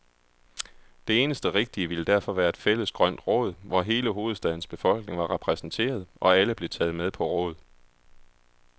Det eneste rigtige ville derfor være et fælles grønt råd, hvor hele hovedstadens befolkning var repræsenteret, og alle blev taget med på råd.